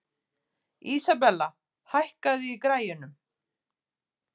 Isabella, hækkaðu í græjunum.